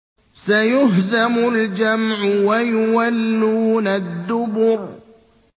سَيُهْزَمُ الْجَمْعُ وَيُوَلُّونَ الدُّبُرَ